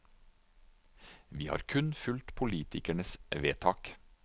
Vi har kun fulgt politikernes vedtak.